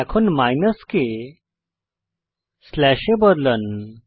এখন মাইনাস কে স্লাশ এ বদলান